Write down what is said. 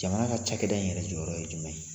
Jamana ka cakɛda in yɛrɛ jɔyɔrɔ ye jumɛn ye?